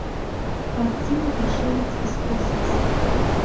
картина пришелец из космоса